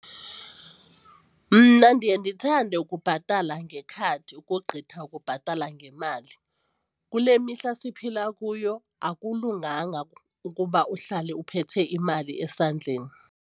Mna ndiye ndithande ukubhatala ngekhadi ukogqitha ukubhatala ngemali. Kule mihla siphila kuyo akulunganga ukuba uhlale uphethe imali esandleni.